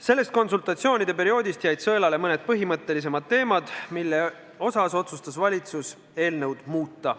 Sellest konsultatsioonide perioodist jäid sõelale mõned põhimõttelisemad teemad, mille osas otsustas valitsus eelnõu muuta.